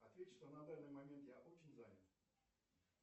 ответь что на данный момент я очень занят